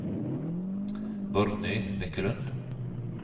Borgny Bekkelund